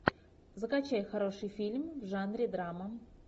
закачай хороший фильм в жанре драма